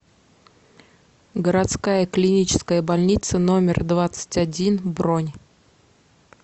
городская клиническая больница номер двадцать один бронь